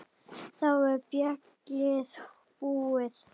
Þá er ballið búið.